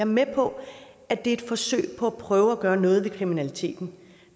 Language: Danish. med på at det er et forsøg på at gøre noget ved kriminaliteten